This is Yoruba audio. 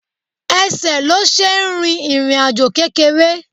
Ẹsẹ̀ ló ṣe ń rìn ìrìnàjò kékeré